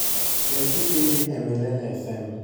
we kipindi e milele fm